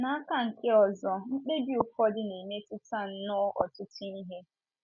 N’aka nke ọzọ, mkpebi ụfọdụ na - emetụta nnọọ ọtụtụ ihe.